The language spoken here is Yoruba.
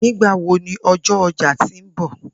Nigbawo ni ọjọ ọja ti nbọ?